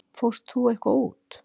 Fórst þú ekki eitthvað út?